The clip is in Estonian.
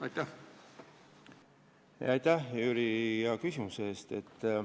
Aitäh, Jüri, hea küsimuse eest!